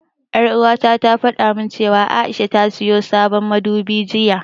Ƴar'uwata ta fada min cewa A'isha ta siyo sabon madubi jiya.